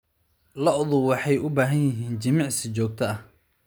Lo'du waxay u baahan yihiin jimicsi joogto ah.